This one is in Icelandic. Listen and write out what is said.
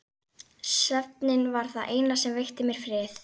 Svefninn var það eina sem veitti mér frið.